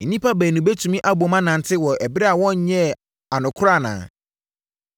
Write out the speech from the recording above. Nnipa baanu bɛtumi abom anante, wɔ ɛberɛ a wɔnyɛɛ anokorɔ anaa?